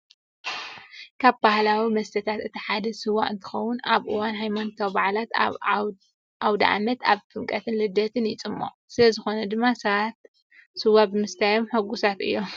ካብ ባህላዊ መስተታትና እቲ ሓደ ስዋ እንትኸውን ኣብ እዋን ሃይማኖታዊ በዓላትና፣ ኣብ ኣውደ ዓመት፣ ኣብ ጥምቀትን ልደትን ይፁመቅ። ስለዝኾነ ድማ ሰባት ሰዋ ብምስታዮም ህጉሳት እዮም።